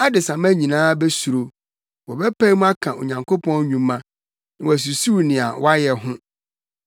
Adesamma nyinaa besuro; wɔbɛpae mu aka Onyankopɔn nnwuma na wɔasusuw nea wayɛ ho.